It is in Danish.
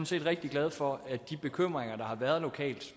set rigtig glad for at de bekymringer der har været lokalt